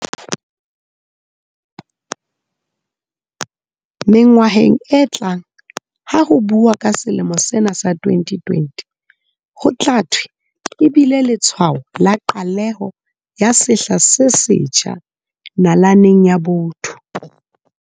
Mengwaheng e tlang ha ho buuwa ka selemo sena sa 2020, ho tla thwe e bile letshwao la qaleho ya sehla se setjha nalaneng ya botho.